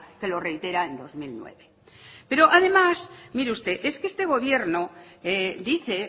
que lo reitera en dos mil nueve pero además mire usted es que este gobierno dice